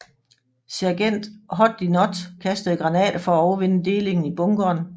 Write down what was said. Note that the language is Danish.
Sergent Hoddinot kastede granater for at overvinde delingen i bunkeren